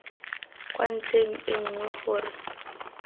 kwa ntlheng e nngwe gore